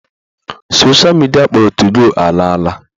Sosha midia akpọrọ 2go ala ala.